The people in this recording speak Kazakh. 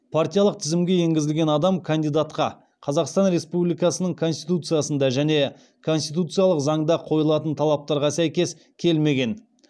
партиялық тізімге енгізілген адам кандидатқа қазақстан республикасының конституциясында және конституциялық заңда қойылатын талаптарға сәйкес келмеген